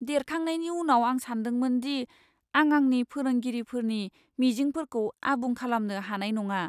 देरखांनायनि उनाव, आं सानदोंमोन दि आं आंनि फोरोंगिरिफोरनि मिजिंफोरखौ आबुं खालामनो हानाय नङा।